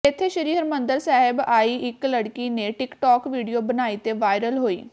ਇਥੇ ਸ੍ਰੀ ਹਰਿਮੰਦਰ ਸਾਹਿਬ ਆਈ ਇਕ ਲੜਕੀ ਨੇ ਟਿਕਟੋਕ ਵੀਡੀਓ ਬਣਾਈ ਅਤੇ ਵਾਇਰਲ ਹੋਈ